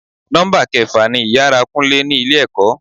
Nọ́mbà kẹfà ni ìyára kúnlé ni ilé ẹ̀kọ́.